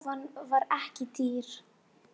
Rófan var ekki dýr.